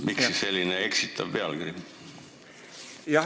Miks siis selline eksitav pealkiri?